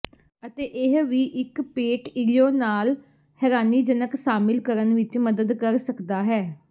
ਅਤੇ ਇਹ ਵੀ ਇੱਕ ਪੇਟ ਿੋੜੇ ਨਾਲ ਹੈਰਾਨੀਜਨਕ ਸਾਮਿਲ ਕਰਨ ਵਿੱਚ ਮਦਦ ਕਰ ਸਕਦਾ ਹੈ